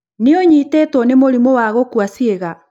nũ ũnyitĩtũo nĩ mũrimũ wa gũkua ciĩga?